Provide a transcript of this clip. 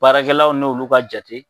Baarakɛlaw n'olu ka jate